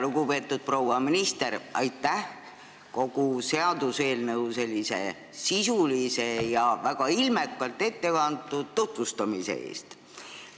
Lugupeetud proua minister, aitäh seaduseelnõu sisulise ja väga ilmekalt ettekantud tutvustuse eest!